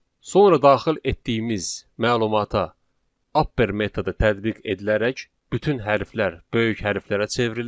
Sonra daxil etdiyimiz məlumata upper metodu tətbiq edilərək bütün hərflər böyük hərflərə çevrilir.